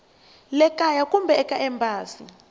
le kaya kumbe eka embasi